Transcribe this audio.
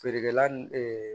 Feerekɛla n